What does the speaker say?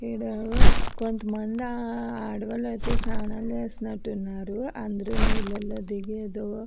ఈడ కొంతమంది ఆడవాళ్ళు అయితే స్నానం చేస్తున్నారు అందరూ నీళ్లలో దిగి ఏదో --